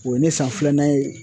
O ye ne san filanan ye.